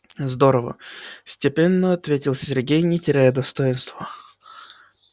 здорово степенно ответил сергей не теряя достоинства